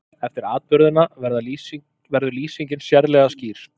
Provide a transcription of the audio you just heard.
Eftir atburðina verður lýsingin sérlega skýr.